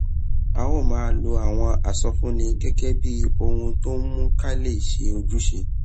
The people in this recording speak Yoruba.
a ó máa lo àwọn ìsọfúnni gégé bí ohun tó ń mú ká lè ṣe ojúṣe